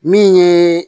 Min ye